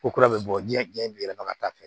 Ko kura bɛ bɔ diɲɛ diɲɛ bɛ yɛlɛma ka taa fɛ